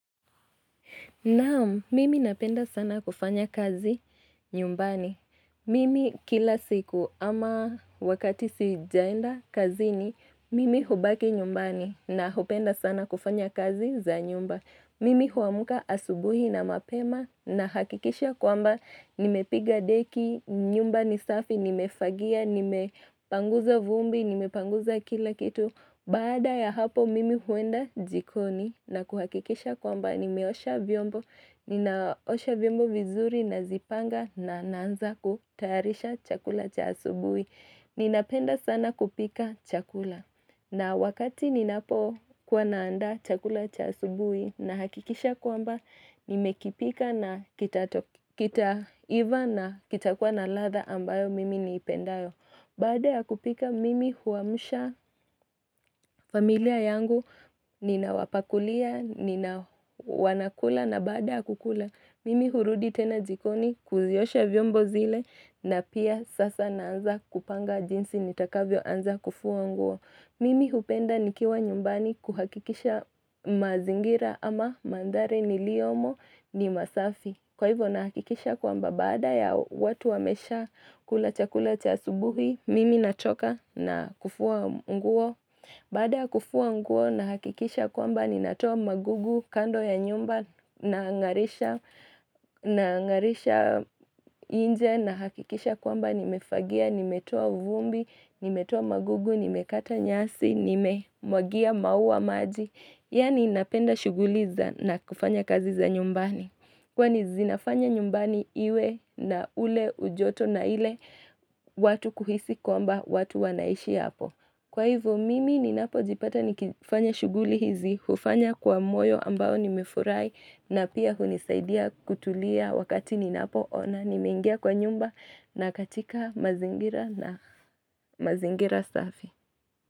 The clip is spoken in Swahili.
Naam, mimi napenda sana kufanya kazi nyumbani. Mimi kila siku ama wakati sijaenda kazini mimi hubaki nyumbani na hupenda sana kufanya kazi za nyumba. Mimi huamka asubuhi na mapema na hakikisha kwamba nimepiga deki, nyumba ni safi, nimefagia, nimepanguza vumbi, nimepanguza kila kitu. Baada ya hapo mimi huenda jikoni na kuhakikisha kwamba nimeosha vyombo, ninaosha vyombo vizuri nazipanga na naanza kutayarisha chakula cha asubuhi. Ninapenda sana kupika chakula na wakati ninapokuwa naanda chakula cha asubuhi nahakikisha kwamba nimekipika na kitaiva na kitakuwa na ladha ambayo mimi niipendayo. Baada ya kupika, mimi huwamsha familia yangu ninawapakulia, nina wanakula na baada ya kukula. Mimi hurudi tena jikoni kuziosha vyombo zile na pia sasa naanza kupanga jinsi nitakavyoanza kufua nguo. Mimi hupenda nikiwa nyumbani kuhakikisha mazingira ama mandhari niliyomo ni masafi Kwa hivyo nahakikisha kwamba baada ya watu wamesha kula chakula cha asubuhi Mimi natoka na kufua nguo Baada ya kufua nguo nahakikisha kwamba ninatoa magugu kando ya nyumba na ngarisha nje nahakikisha kwamba nimefagia nimetoa vumbi, nimetoa magugu, nimekata nyasi, nimemwagia maua maji Yani napenda shughuli za na kufanya kazi za nyumbani Kwani zinafanya nyumbani iwe na ule ujoto na ile watu kuhisi kwamba watu wanaishi hapo Kwa hivyo mimi ninapojipata nikifanya shughuli hizi, hufanya kwa moyo ambao nimefurahi na pia hunisaidia kutulia wakati ninapo ona nimengia kwa nyumba na katika mazingira na mazingira safi.